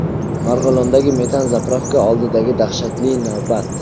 Marg‘ilondagi metan-zapravka oldidagi dahshatli navbat.